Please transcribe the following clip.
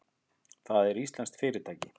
Það er íslenskt fyrirtæki.